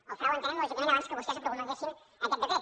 el frau entenem lògicament abans que vostès promulguessin aquest decret